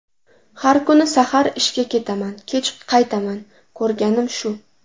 Har kuni sahar ishga ketaman, kech qaytaman, ko‘rganim shu!